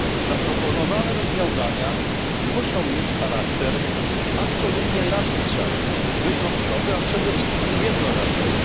Zaproponowane rozwiązania muszą mieć charakter absolutnie nadzwyczajny, wyjątkowy, a przede wszystkim jednorazowy.